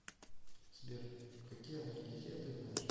сбер какие анальгезия ты знаешь